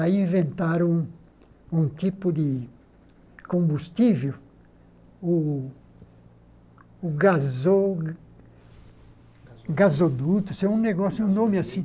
Aí inventaram um um tipo de combustível, o... o gaso... gasoduto, isso é um negócio, um nome assim.